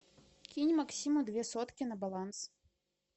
кинь максиму две сотки на баланс